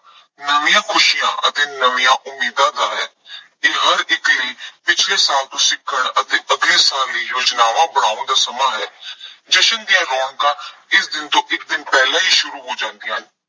ਨਵੀਆਂ ਖੁਸ਼ੀਆਂ ਅਤੇ ਨਵੀਆਂ ਉਮੀਦਾਂ ਦਾ ਹੈ। ਇਹ ਹਰ ਇੱਕ ਲਈ ਪਿਛਲੇ ਸਾਲ ਤੋਂ ਸਿੱਖਣ ਅਤੇ ਅਗਲੇ ਸਾਲ ਲਈ ਯੋਜਨਾਵਾਂ ਬਣਾਉਣ ਦਾ ਸਮਾਂ ਹੈ। ਜਸ਼ਨ ਦੀਆਂ ਰੌਣਕਾਂ ਇਸ ਦਿਨ ਤੋਂ ਇੱਕ ਦਿਨ ਪਹਿਲਾਂ ਹੀ ਸ਼ੁਰੂ ਹੋ ਜਾਂਦੀਆਂ ਹਨ।